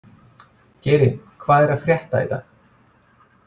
Geiri, hvað er að frétta í dag?